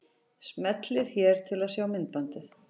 Smellið hér til að sjá myndbandið.